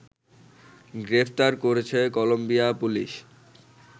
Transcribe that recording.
গ্রেফতার করেছে Colombia police